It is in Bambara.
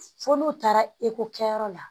Fo n'u taara ekɔ kɛyɔrɔ la